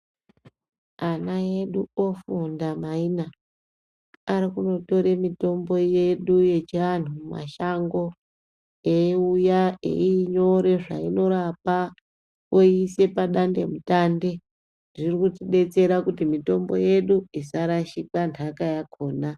Ana edu ofunda maina ariku notora yedu mumashango eiuya eiinyora zvainorapa oiisa padandemutande zviri kutidetsera kuti mitombo yedu isarashika ntaka yakhona.